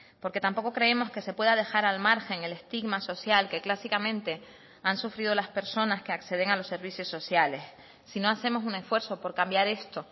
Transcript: porque tampoco creemos que se pueda dejar al margen el estigma social que clásicamente han sufrido las personas que acceden a los servicios sociales si no hacemos un esfuerzo por cambiar esto